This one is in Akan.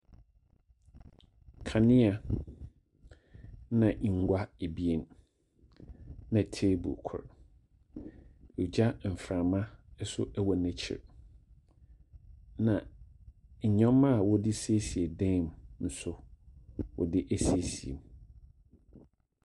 Nkanea, na nngua abienna table kor. Gyaframa nso wɔ n'ekyir. Na nyɔma a wɔde siesie dam nso wɔde asiesie mu.